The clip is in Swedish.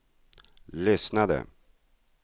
lyssnade